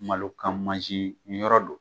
Malo ka malo kan masin yɔrɔ don.